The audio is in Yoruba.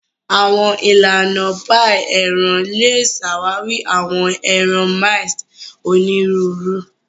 Awọn ilana ilana paii eran le ṣawari awọn ẹran minced oniruuru.